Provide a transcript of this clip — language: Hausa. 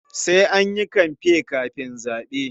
Sai an yi kamfe kafin zaɓe.